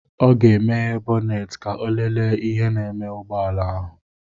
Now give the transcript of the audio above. Ọ ga-emeghe bọnet ka ọ lele ihe na-eme ụgbọala ahụ.